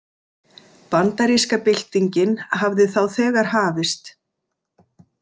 Bandaríska byltingin hafði þá þegar hafist.